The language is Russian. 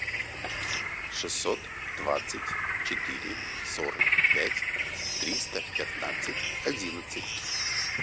шестьсот двадцать четыре сорок пять триста пятнадцать одиннадцать